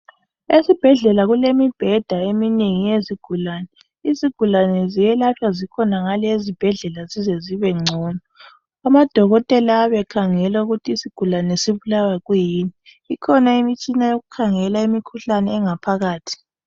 esibhedlela kulemibheda eminengi yezigulane izigulane ziyelatshwa zikhonangale ezibhedlela zize zibengcono ama dokotela ayabe ekhangela ukuthi isigulane sibulawa yikuyini ikhona imitshina yokukhangela imikhuhlane engaphakathi